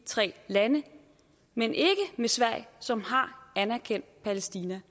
tre lande men ikke med sverige som har anerkendt palæstina